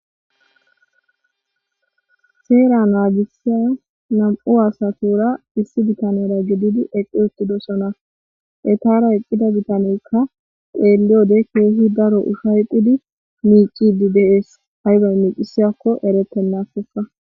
seera naagisiya nam7u asatura issi bitanera gididi eqqi uttidosona etara eqqida bitaneyka xeeliyode keehi daro uhayqidi miicidi de7ees haybay miicisiyakko eretennakkoka.